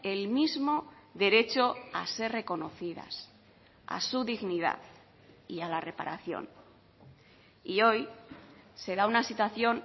el mismo derecho a ser reconocidas a su dignidad y a la reparación y hoy se da una situación